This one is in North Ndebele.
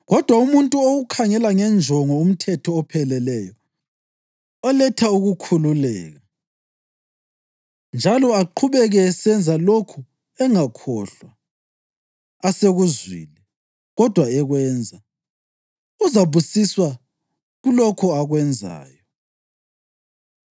Kodwa umuntu owukhangela ngenjongo umthetho opheleleyo oletha ukukhululeka, njalo aqhubeke esenza lokhu engakhohlwa asekuzwile, kodwa ekwenza, uzabusiswa kulokho akwenzayo.